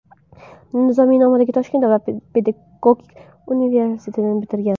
Nizomiy nomidagi Toshkent davlat pedagogika universitetini bitirgan.